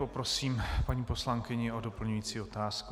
Poprosím paní poslankyni o doplňující otázku.